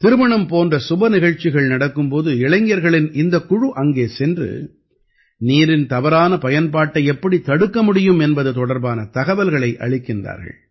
திருமணம் போன்ற சுப நிகழ்ச்சிகள் நடக்கும் போது இளைஞர்களின் இந்தக் குழு அங்கே சென்று நீரின் தவறான பயன்பாட்டை எப்படித் தடுக்க முடியும் என்பது தொடர்பான தகவல்களை அளிக்கிறார்கள்